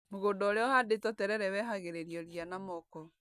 Mũgũnda ũrĩa ũhandĩtwo terere wehagĩrĩrio ria na moko.